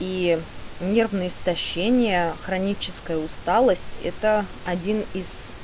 и нервное истощение хроническая усталость это один из